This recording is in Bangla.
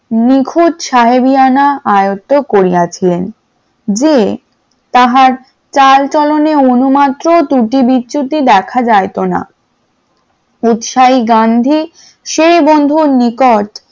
নিখুঁত সাহেবিয়ানা আয়ত্ত করিয়াছিলেন, যে তাহার চাল চলনেও অনুমাত্র ত্রুটি বিচ্যুতি দেখা যাইতো না উৎসাহী গান্ধী সেই বন্ধুর নিকট